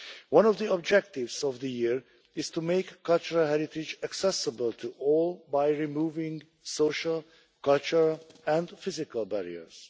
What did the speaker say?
One of the objectives of the year is to make cultural heritage accessible to all by removing social, cultural and physical barriers.